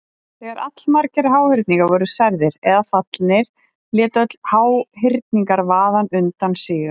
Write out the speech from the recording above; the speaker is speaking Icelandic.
Þegar allmargir háhyrningar voru særðir eða fallnir lét öll háhyrningavaðan undan síga.